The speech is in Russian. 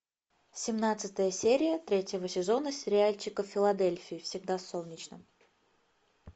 семнадцатая серия третьего сезона сериальчика в филадельфии всегда солнечно